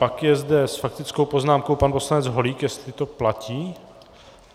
Pak je zde s faktickou poznámkou pan poslanec Holík, jestli to platí.